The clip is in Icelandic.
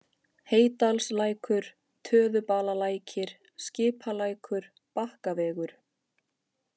Heydalslækur, Töðubalalækir, Skipalækur, Bakkavegur